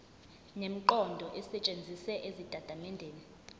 nemiqondo esetshenzisiwe ezitatimendeni